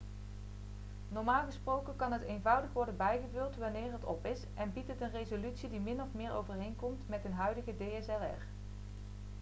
normaal gesproken kan het eenvoudig worden bijgevuld wanneer het op is en biedt het een resolutie die min of meer overeenkomt met een huidige dslr